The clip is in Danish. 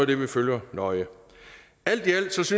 det vi følger nøje alt i alt synes